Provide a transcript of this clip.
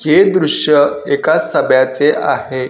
हे दृश्य एका सभ्याचे आहे.